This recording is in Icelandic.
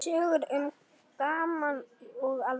Sögur um gaman og alvöru.